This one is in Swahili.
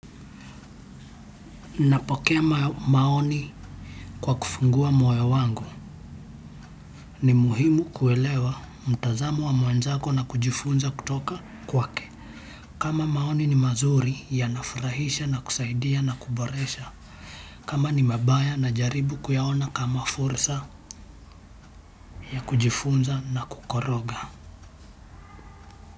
Napokea maoni kwa kufungua moyo wangu ni muhimu kuelewa mtazamo wa mwenzako na kujifunza kutoka kwake kama maoni ni mazuri yanafurahisha na kusaidia na kuboresha. Kama ni mabaya najaribu kuyaona kama fursa ya kujifunza na kukoroga.